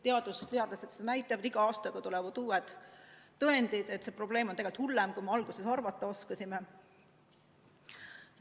Teadus ja teadlased seda näitavad, iga aastaga tulevad uued tõendid, et see probleem on tegelikult hullem, kui me seni arvata oskasime.